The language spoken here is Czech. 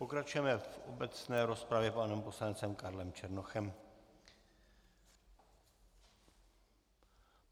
Pokračujeme v obecné rozpravě panem poslancem Karlem Černochem.